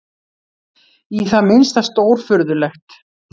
Í það minnsta stórfurðulegt.